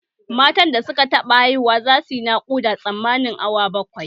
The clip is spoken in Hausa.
Matan da suka taɓa haihu za suyi nakuda tsammanin awa bakwai